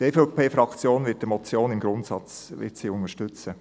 Die EVP-Fraktion wird diese Motion im Grundsatz unterstützen.